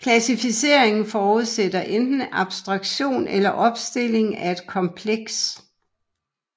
Klassificering forudsætter enten abstraktion eller opstilling af et kompleks